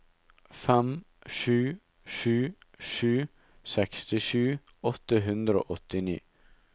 fem sju sju sju sekstisju åtte hundre og åttini